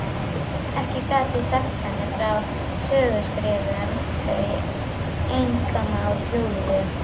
Ekki gat ég sagt henni frá söguskrifum, þau einkamál Júlíu.